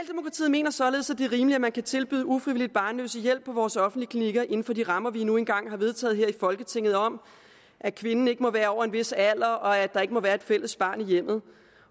mener således at det er rimeligt at man kan tilbyde ufrivilligt barnløse hjælp på vores offentlige klinikker inden for de rammer vi nu en gang har vedtaget her i folketinget om at kvinden ikke må være over en vis alder at der ikke må være et fælles barn i hjemmet